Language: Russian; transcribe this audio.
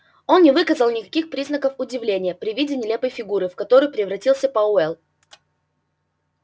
он не выказал никаких признаков удивления при виде нелепой фигуры в которую превратился пауэлл